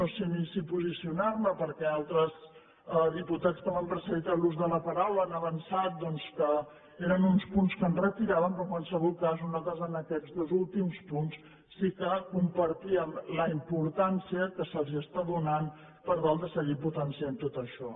no sé si ni posicionar me perquè altres diputats que m’han precedit en l’ús de la paraula han avançat doncs que eren uns punts que es retiraven però en qualsevol cas nosaltres en aquests dos últims punts sí que compartíem la importància que se’ls està donant per tal de seguir potenciant tot això